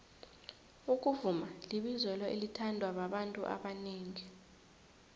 ukuvuma libizelo elithandwa babantu abanengi